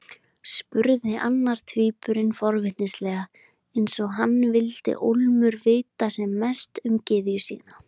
spurði annar tvíburinn forvitnislega, eins og hann vildi ólmur vita sem mest um gyðjuna sína.